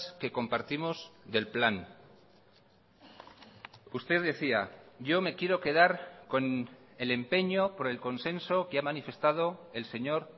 que compartimos del plan usted decía yo me quiero quedar con el empeño por el consenso que ha manifestado el señor